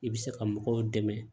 I bɛ se ka mɔgɔw dɛmɛ